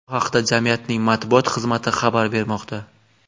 Bu haqda jamiyatning matbuot xizmati xabar bermoqda .